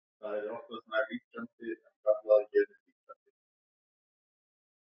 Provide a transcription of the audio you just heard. Þeir sem ekki voru húseigendur gátu litið á málið með meiri aðdáun.